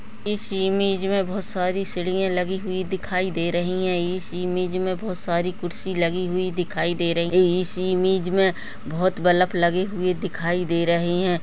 इस इमेज में बहोत सारी सीड़िया लगी हुई दिखाई दे रही है इस इमेज में बहुत सारी कुर्सी लगी हुई दिखाई दे रही इस इमेज में बहोत बल्लप लगे हुए दिखाई दे रहे हैं।